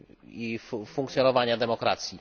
i funkcjonowania demokracji.